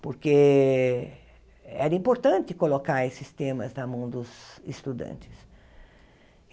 Porque era importante colocar esses temas na mão dos estudantes.